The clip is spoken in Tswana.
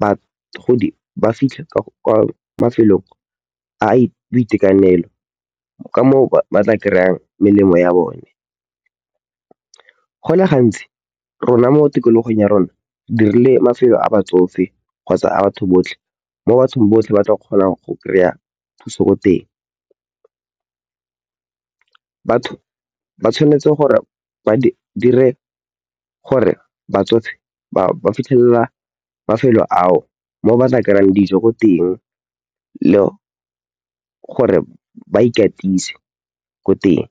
bagodi ba fitlhe kwa mafelong a boitekanelo ka moo ba tla kry-ang melemo ya bone. Go le gantsi rona mo tikologong ya rona dirile mafelo a batsofe kgotsa a batho botlhe mo bathong botlhe ba tla kgonang go kry-a thuso ko teng. Batho ba tshwanetse gore ba dire gore batsofe ba fitlhelela mafelo ao mo batla kry-ang dijo ko teng le gore ba ikatise ko teng.